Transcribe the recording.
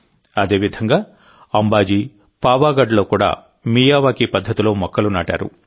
అదేవిధంగా అంబాజీ పావాగఢ్ లలో కూడా మియావాకీ పద్ధతిలో మొక్కలు నాటారు